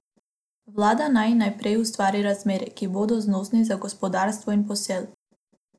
Vlada naj najprej ustvari razmere, ki bodo znosni za gospodarstvo in posel.